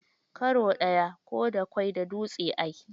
Karo ɗaya, ko da ƙwai da dutse a yi.